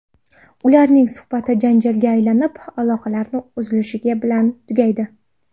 Ularning suhbati janjalga aylanib, aloqalarni uzilishi bilan tugaydi.